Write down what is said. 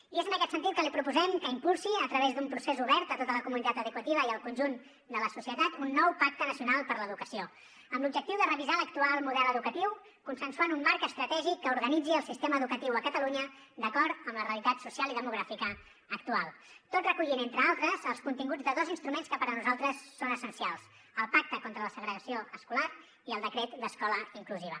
i és en aquest sentit que li proposem que impulsi a través d’un procés obert a tota la comunitat educativa i al conjunt de la societat un nou pacte nacional per a l’educació amb l’objectiu de revisar l’actual model educatiu i consensuar un marc estratègic que organitzi el sistema educatiu a catalunya d’acord amb la realitat social i demogràfica actual tot recollint entre altres els continguts de dos instruments que per nosaltres són essencials el pacte contra la segregació escolar i el decret d’escola inclusiva